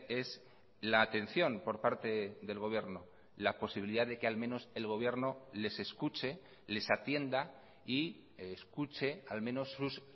es la atención por parte del gobierno la posibilidad de que al menos el gobierno les escuche les atienda y escuche al menos sus